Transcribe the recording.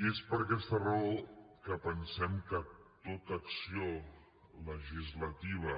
i és per aquesta raó que pensem que tota acció legislativa